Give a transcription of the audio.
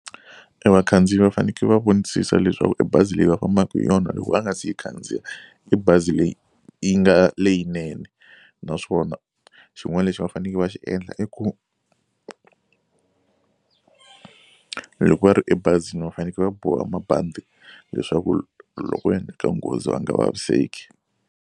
E vakhandziyi va faneke va vonisisa leswaku e bazi leyi va fambaka hi yona loko va nga si yi khandziya i bazi leyi yi nga leyinene naswona xin'wana lexi va faneke va xi endla i ku loko va ri ebazini va faneke va boha mabandi leswaku loko ko endleka nghozi va nga vaviseki.